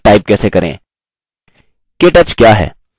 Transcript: केटच क्या है